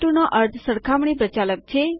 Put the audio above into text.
માટેબે નો અર્થ સરખામણી પ્રચાલક છે